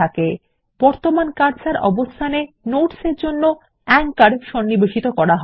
টিকার আঁচোর বর্তমান কার্সর অবস্থান এ যোগ করা হয়